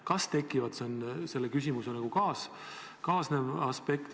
Kas tekivad, on selle küsimusega kaasnev aspekt.